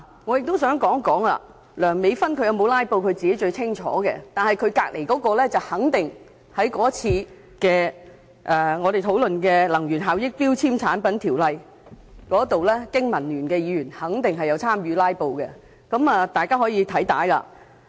我亦想指出，梁美芬議員有否"拉布"她自己最清楚，但她旁邊那位經民聯議員則肯定有在我們上次討論有關《能源效益條例》的決議案時參與"拉布"，大家可翻看會議的錄影片段。